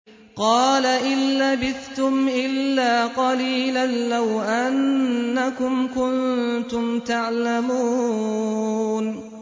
قَالَ إِن لَّبِثْتُمْ إِلَّا قَلِيلًا ۖ لَّوْ أَنَّكُمْ كُنتُمْ تَعْلَمُونَ